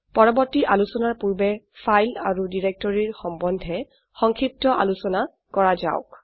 পৰবৰ্তী আলোচনাৰ পূৰ্বে ফাইল আৰু ডিৰেক্টৰীৰ সম্বন্ধে সংক্ষিপ্ত আলোচনা কৰা যাওক